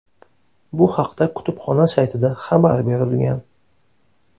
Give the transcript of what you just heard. Bu haqda kutubxona saytida xabar berilgan .